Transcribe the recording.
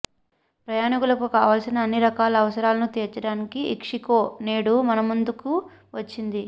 ప్రయాణీకులకు కావలసిన అన్ని రకాల అవసరాలను తీర్చడానికి ఇక్షిగో నేడు మనముందుకు వచ్చింది